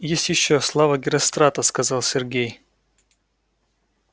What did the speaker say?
есть ещё слава герострата сказал сергей